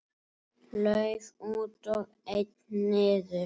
Lauf út og einn niður.